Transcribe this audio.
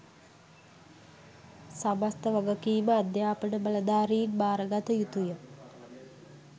සමස්ත වගකීම අධ්‍යාපන බලධාරීන් බාරගත යුතුය